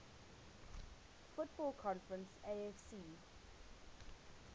football conference afc